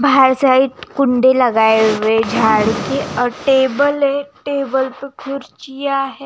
बाहर साइड कुंडी लगाए हुए हैं झाड़ के और टेबल है टेबल पे कुर्सियां है।